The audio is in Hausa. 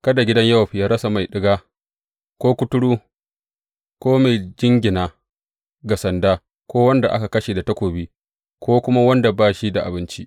Kada gidan Yowab yă rasa mai ɗiga, ko kuturu, ko mai jingina ga sanda, ko wanda aka kashe da takobi, ko kuma wanda ba shi da abinci.